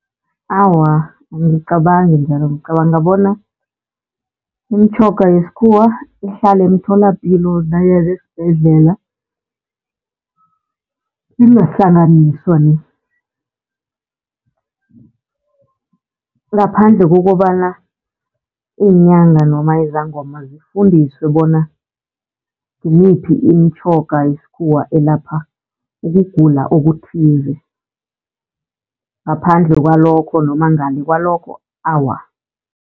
Awa, angicabangi njalo ngicabanga bona imitjhoga yesikhuwa ihlale emtholapilo nanyana esibhedlela ingahlanganiswa ni. Ngaphandle kokobana iinyanga noma izangoma zifundiswe bona ngimiphi imitjhoga yesikhuwa elapha ukugula okuthize. Ngaphandle kwalokho noma ngale kwalokho awa.